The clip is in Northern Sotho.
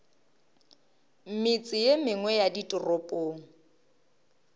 metse ye mengwe ya ditoropong